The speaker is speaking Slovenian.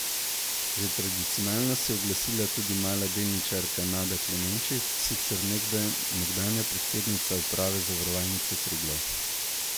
Že tradicionalno se je oglasila tudi mala delničarka Nada Klemenčič, sicer nekdanja predsednica uprave Zavarovalnice Triglav.